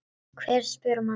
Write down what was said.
Hver spyr um hana?